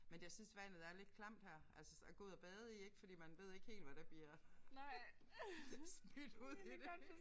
Men jeg synes vandet er lidt klamt her altså at gå ud at bade i ik fordi man ved helt ikke hvad der bliver smidt ud i det